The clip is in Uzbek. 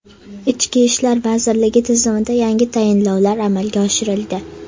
Ichki ishlar vazirligi tizimida yangi tayinlovlar amalga oshirildi.